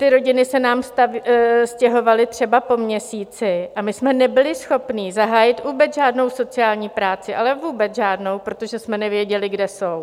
Ty rodiny se nám stěhovaly třeba po měsíci a my jsme nebyli schopni zahájit vůbec žádnou sociální práci, ale vůbec žádnou, protože jsme nevěděli, kde jsou.